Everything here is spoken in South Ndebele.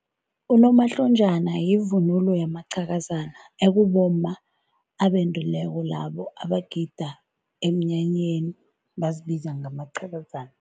Unomhlonjana yivunulo yamaqhakazana ekubomma ebendileko labo abagida emnyanyeni bazibiza ngamaqhakazana.